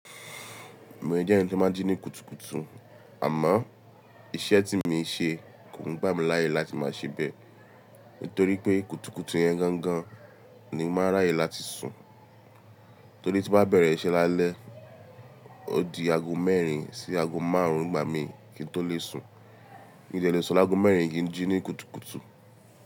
Mo jẹ́ ẹńi tí ó máa ń jí ní kùtùkùtù, àmọ́ iṣẹ́ tí mo ń ṣe kò ń gbà mí láyè láti máa ṣe bẹ́ẹ̀ nítorí pé kùtùkùtù yẹn gangan ni ó máa ń ráyè láti sùn. Torí tí bá bẹ̀rẹ̀ iṣẹ́ lálẹ́, ó di ago mẹ́rin sí ago márùn-ún nigbà mí kí n tó lè sùn. Mí dẹ́lé ó sun l'ago mẹ́rin kí n jí ní kùtùkùtù.